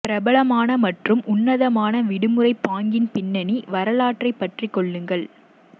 பிரபலமான மற்றும் உன்னதமான விடுமுறை பாங்கின் பின்னணி வரலாற்றைப் பற்றிக் கொள்ளுங்கள்